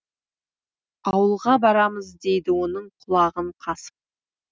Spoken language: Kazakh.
ауылға барамыз дейді оның құлағын қасып